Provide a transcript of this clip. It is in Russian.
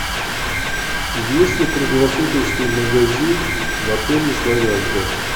есть ли круглосуточный магазин в отеле славянка